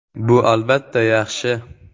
Bu, albatta, yaxshi.